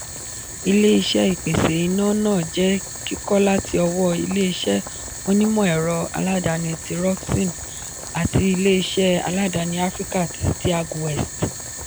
ilé-iṣẹ́ ìpèsè iná náà je kikọ láti ọwọ ilé-iṣé onímọ̀-ẹ̀rọ aládàáni ti rockson àti ilé-iṣé aládàáni áfríkà ti steag west